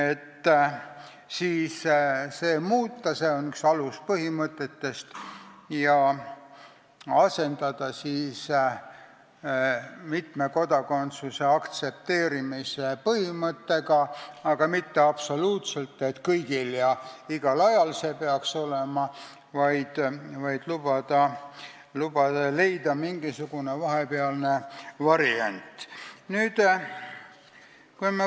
Ettepanek on muuta seda ühte aluspõhimõtet ja asendada see mitme kodakondsuse aktsepteerimise põhimõttega, aga mitte absoluutselt, et see peaks olema kõigil ja igal ajal, vaid lubada mingisugune vahepealne variant leida.